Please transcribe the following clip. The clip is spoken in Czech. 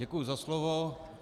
Děkuju za slovo.